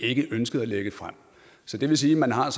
ikke ønsket at lægge frem så det vil sige at man har